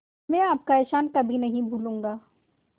मैं आपका एहसान कभी नहीं भूलूंगा